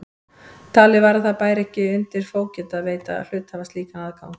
Talið var að það bæri ekki undir fógeta að veita hluthafa slíkan aðgang.